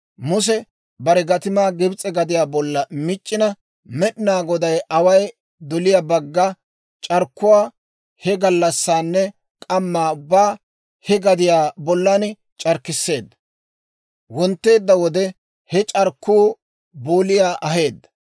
Muse bare gatimaa Gibs'e gadiyaa bollan mic'c'ina, Med'inaa Goday away doliyaa bagga c'arkkuwaa he gallassanne k'amma ubbaa he gadiyaa bollan c'arkkisseedda; wontteedda wode he c'arkkuu booliyaa aheedda.